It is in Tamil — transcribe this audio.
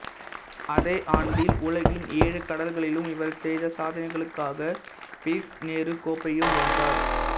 அதே ஆண்டில் உலகின் ஏழு கடல்களிலும் இவர் செய்த சாதனைகளுக்காக பிளிட்சு நேரு கோப்பையையும் வென்றார்